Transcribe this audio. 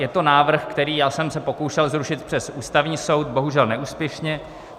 Je to návrh, který já jsem se pokoušel zrušit přes Ústavní soud, bohužel neúspěšně.